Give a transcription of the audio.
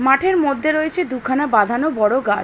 মাঠের মধ্যে রয়েছে দুখানা বাঁধানো বড় গাছ।